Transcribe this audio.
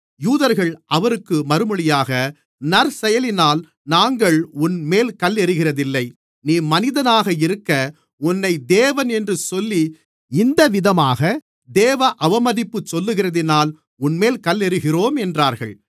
யூதர்கள் அவருக்கு மறுமொழியாக நற்செயலினால் நாங்கள் உன்மேல் கல்லெறிகிறதில்லை நீ மனிதனாக இருக்க உன்னை தேவன் என்று சொல்லி இந்தவிதமாக தேவ அவமதிப்பு சொல்லுகிறதினால் உன்மேல் கல்லெறிகிறோம் என்றார்கள்